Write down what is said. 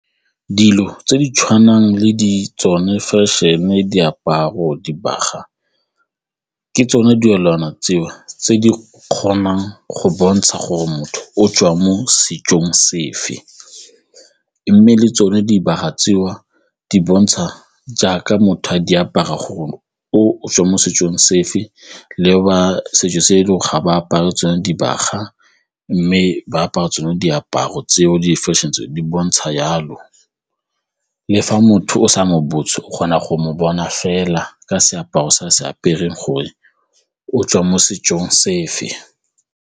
Dilo tse di tshwanang le di tsone fashion-e, diaparo, dibaga ke tsone tseo tse di kgonang go bontsha gore motho o tswang mo setsong sefe mme le tsone dibaga tseo di bontsha jaaka motho a di apara gore o tswa mo setsong sefe le ba setso se dilo ga ba apare tsone dibaga mme ba apara tsone diaparo tseo di-fashion-e tseo di bontsha jalo le fa motho o sa mo botse o kgona go mo bona fela ka seaparo sa se apere gore o tswa mo setsong sefe.